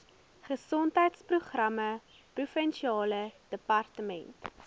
gesondheidsprogramme provinsiale departement